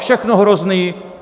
Všechno hrozné!